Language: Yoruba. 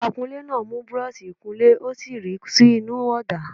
Akunlé náà mù búrọ́ọ̀ṣì -ìkunlé ó sì ríi sínú ọ̀dà.